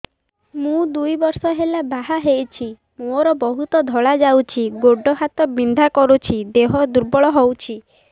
ମୁ ଦୁଇ ବର୍ଷ ହେଲା ବାହା ହେଇଛି ମୋର ବହୁତ ଧଳା ଯାଉଛି ଗୋଡ଼ ହାତ ବିନ୍ଧା କରୁଛି ଦେହ ଦୁର୍ବଳ ହଉଛି